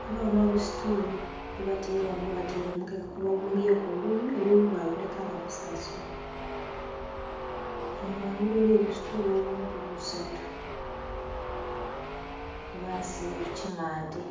ghabagho nho busituulu bwe bataire ghanho ghe bataire omukeka gwe baghumbyeku oluyi oluyi bakuleka nga musansule. Ere ghangulu eriyo obusitulu obundhi busatu bwe basiiga ku kimante.